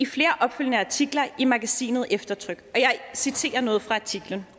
flere opfølgende artikler i magasinet eftertryk og jeg citerer noget fra artiklen